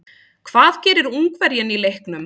Hvað gerir Ungverjinn í leiknum?